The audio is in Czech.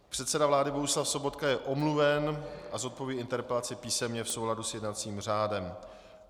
Předseda vlády Bohuslav Sobotka je omluven a zodpoví interpelaci písemně v souladu s jednacím řádem.